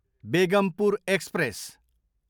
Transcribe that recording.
Begampur express